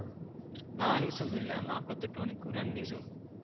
നാലുദിവസം ഒന്നുമില്ല നാല്പത്തിയെട്ടു മണിക്കൂർ രണ്ടുദിവസം ആണ്.